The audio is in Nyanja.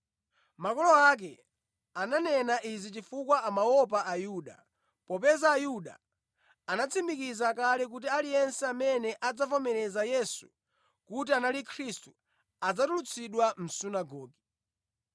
Makolo ake ananena izi chifukwa amaopa Ayuda, popeza Ayuda anatsimikiza kale kuti aliyense amene adzamuvomereza Yesu kuti anali Khristu adzatulutsidwa mʼsunagoge.